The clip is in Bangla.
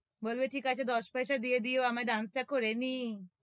বলবে ঠিক আছে দশ পয়সা দিয়ে দিও আমি dance টা করেনি ।